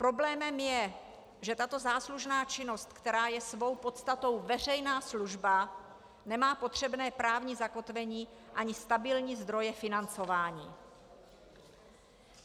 Problémem je, že tato záslužná činnost, která je svou podstatou veřejná služba, nemá potřebné právní zakotvení ani stabilní zdroje financování.